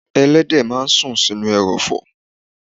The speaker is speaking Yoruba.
Ẹlẹ́dẹ̀ ń sùn sínú ẹrọ̀fọ̀.